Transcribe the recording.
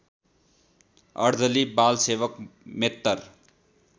अर्दली बालसेवक मेत्तर